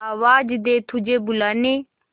आवाज दे तुझे बुलाने